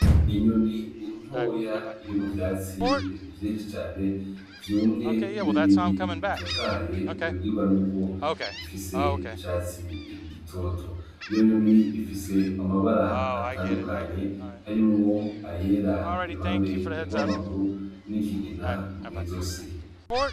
Inyoni intoya iri mu vyatsi vye cane vyumye n'ibindi bitotaye ubibwirwa n'uko bigifise icatsi igitoto iyo nyoni ifise amabara atandukanye harimwo ayera iruhande erwa amaguru n'ikigina mw'izo si.